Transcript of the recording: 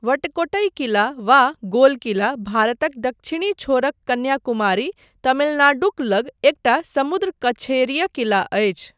वट्टकोट्टई किला, वा 'गोल किला' भारतक दक्षिणी छोरक कन्याकुमारी, तमिलनाडुक लग एकटा समुद्र कछेरीय किला अछि।